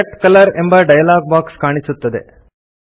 select colour ಎಂಬ dialogue box ಕಾಣಿಸುತ್ತದೆ